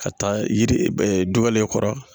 Ka taa yiri du wɛrɛ kɔrɔ